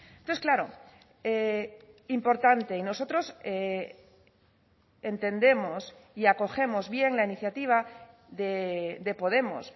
entonces claro importante y nosotros entendemos y acogemos bien la iniciativa de podemos